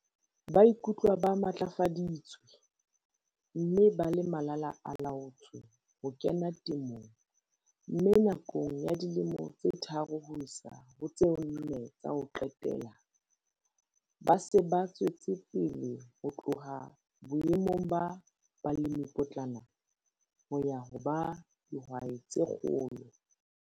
Ba ikutlwa ba matlafaditswe, mme ba le malala-a-laotswe ho kena temong, mme nakong ya dilemo tsa tharo ho isa ho tse nne tsa ho qetela, ba se ba tswetse pele ho tloha boemong ba balemipotlana ho ya ho ba dihwai tse kgolo.